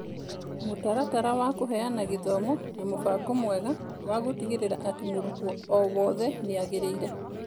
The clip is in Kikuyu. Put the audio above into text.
mũtaratara wa kũheana gĩthomo na mũbango mwega wagũtigĩrĩra atĩ mũrutwo o wothe nĩ agĩrĩire.